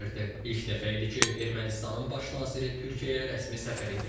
İlk dəfə idi ki, Ermənistanın baş naziri Türkiyəyə rəsmi səfər edirdi.